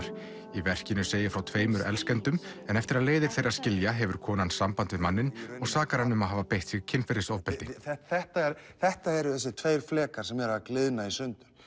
í verkinu segir frá tveimur elskendum en eftir að leiðir þeirra skilja hefur konan samband við manninn og sakar hann um að hafa beitt sig kynferðisofbeldi þetta þetta eru þessir tveir flekar sem eru að gliðna í sundur